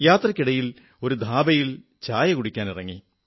യാത്രയ്ക്കിടയിൽ ഒരു ദാബയിൽ ചായ കുടിക്കാനിറങ്ങി